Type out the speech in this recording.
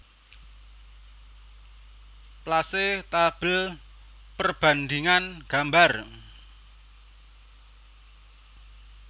Place Tabel perbandhingan gambar